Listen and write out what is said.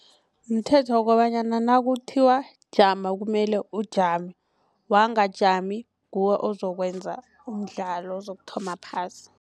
Mthetho kobanyana nakuthiwa jama kumele ujame wangajami nguwe ozokwenza umdlalo ozokuthoma phasi.